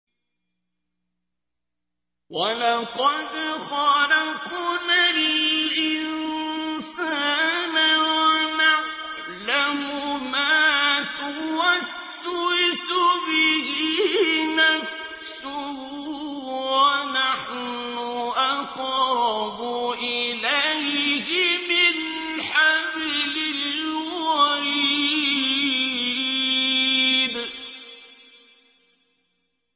وَلَقَدْ خَلَقْنَا الْإِنسَانَ وَنَعْلَمُ مَا تُوَسْوِسُ بِهِ نَفْسُهُ ۖ وَنَحْنُ أَقْرَبُ إِلَيْهِ مِنْ حَبْلِ الْوَرِيدِ